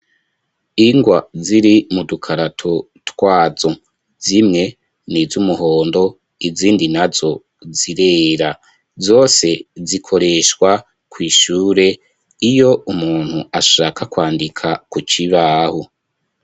Ingwa ziri mu dukarato twazo, zimwe n'izumuhondo, izindi nazo zirera, zose zikoreshwa kw'ishure iyo umuntu ashaka kwandika ku kibaho.